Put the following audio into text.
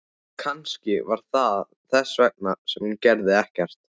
Kannski var það þess vegna sem hún gerði ekkert.